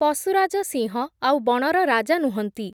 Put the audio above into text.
ପଶୁରାଜ ସିଂହ, ଆଉ ବଣର ରାଜା ନୁହନ୍ତି ।